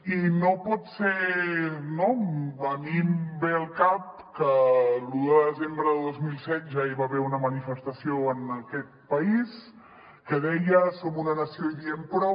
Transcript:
a mi em ve al cap que l’un de desembre de dos mil set ja hi va haver una manifestació en aquest país que deia som una nació i diem prou